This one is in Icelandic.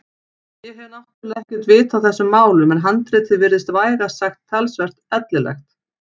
Ég hef náttúrlega ekkert vit á þessum málum en handritið virtist vægast sagt talsvert ellilegt.